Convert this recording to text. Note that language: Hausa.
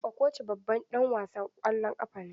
Okocha babban ɗan wasan ƙwallon ƙafa ne.